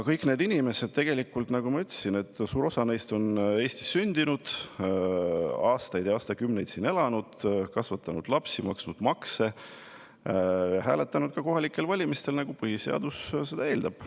Kõik need inimesed, nagu ma ütlesin, või suur osa neist, on Eestis sündinud, aastaid ja aastakümneid siin elanud, nad on kasvatanud lapsi, maksnud makse, hääletanud ka kohalikel valimistel, nagu põhiseadus seda eeldab.